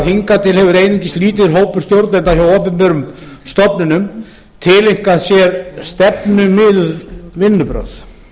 hingað til hefur einungis lítill hópur stjórnenda hjá opinberum stofnunum tileinkað sér stefnumiðuð vinnubrögð